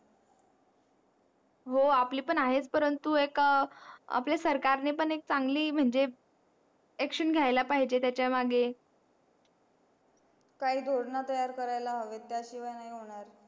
हो आपली पण आहे परंतु एका आपल्या सरकार ने पण चांगली म्हणजे action घ्यायला पाहिजे त्याचा मग काही योजना तयार करायला हवेत त्या शिवाय नाही होणार